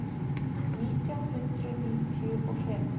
Nítján hundruð níutíu og fimm